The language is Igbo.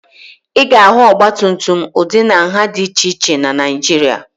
Ị ga-ahụ ọgbatumtum ụdị na nha dị iche iche na Naịjirịa